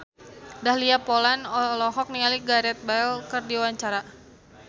Dahlia Poland olohok ningali Gareth Bale keur diwawancara